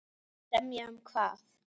Semja um hvað?